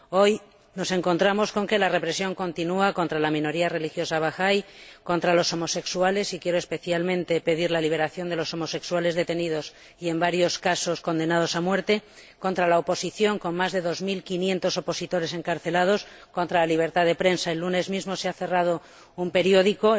Hoy nos encontramos con que la represión continúa contra la minoría religiosa bahai, contra los homosexuales y quiero pedir especialmente la liberación de los homosexuales detenidos y, en varios casos, condenados a muerte contra la oposición con más de dos mil quinientos opositores encarcelados contra la libertad de prensa el lunes mismo se cerró el periódico